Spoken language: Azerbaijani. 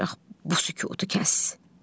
Ancaq bu sükutu kəs.